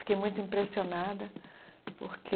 Fiquei muito impressionada, porque...